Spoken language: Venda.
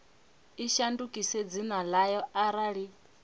i shandukise dzina ḽayo arali